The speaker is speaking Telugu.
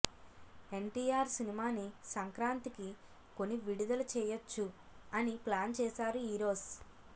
ఎన్టీఆర్ సినిమాని సంక్రాంతికి కొని విడుదల చేయొచ్చు అని ప్లాన్ చేశారు ఈరోస్